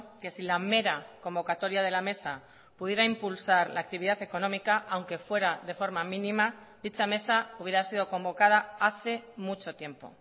que si la mera convocatoria de la mesa pudiera impulsar la actividad económica aunque fuera de forma mínima dicha mesa hubiera sido convocada hace mucho tiempo